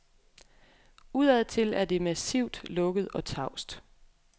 Udadtil er det massivt, lukket og tavst.